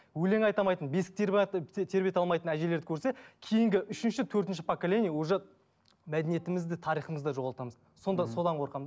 өлең айта алматын бесік тербете алмайтын әжелерді көрсе кейінгі үшінші төртінші поколение уже мәдениетімізді тарихымызды да жоғалтамыз сонда содан қорқамын